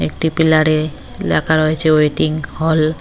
একটি পিলারে লেখা রয়েছে ওয়েটিং হল ।